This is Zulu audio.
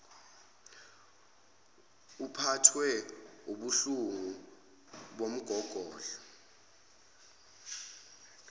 uphathwe wubuhlungu bomgogodla